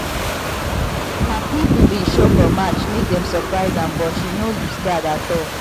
her people been show for match make dem surprise am but she no loose guard at all